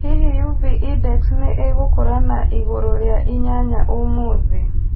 Hihi UV index nĩ ĩgũkũra na igũrũ rĩa inyanya ũmũthĩ